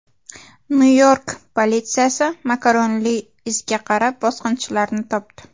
Nyu-York politsiyasi makaronli izga qarab bosqinchilarni topdi.